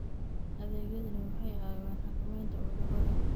Adeegyadani waxay caawiyaan xakamaynta cudurrada.